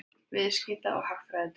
Viðskipta- og hagfræðideild.